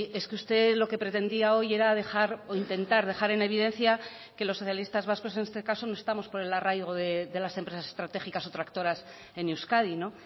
es que usted lo que pretendía hoy era dejar o intentar dejar en evidencia que los socialistas vascos en este caso no estamos por el arraigo de las empresas estratégicas o tractoras en euskadi no